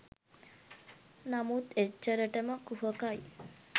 නමුන් එච්චරටම කුහකයි.